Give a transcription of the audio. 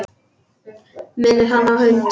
Minnir hann á hund.